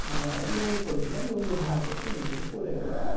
হ্যা লুঙ্গি পরে ছিলাম লুঙ্গির পড়ে গেল